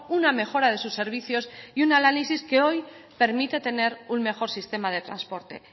una mejora de sus servicios y un análisis que hoy permite tener un mejor sistema de transporte